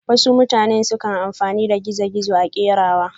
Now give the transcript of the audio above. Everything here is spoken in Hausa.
wasu mutane sukan amfani da zanen gizo-gizo a kerawa.